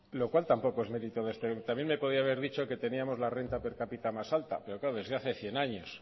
lo cual tampoco es merito de este también me podía haber dicho que tenemos la renta per capita más alta pero claro desde hace cien años